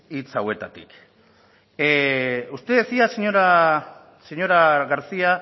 hitz hauetatik usted decía señora garcía